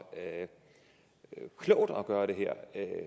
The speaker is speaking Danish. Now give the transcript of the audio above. klogt at gøre det her